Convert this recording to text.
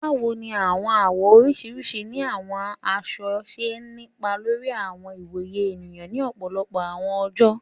Báwo ní àwọn àwọ̀ oríṣiríṣi ni àwọn aṣọ ṣe ni ipa lórí àwọn ìwòye ènìyàn ni ọ̀pọ̀lọpọ̀ àwọn oojọ?